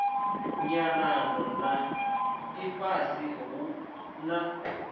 nyanano na ifhasi hu na